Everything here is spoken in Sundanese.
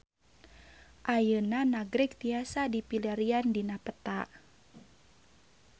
Ayeuna Nagreg tiasa dipilarian dina peta